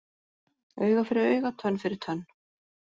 Auga fyrir auga, tönn fyrir tönn